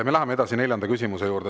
Me läheme edasi neljanda küsimuse juurde.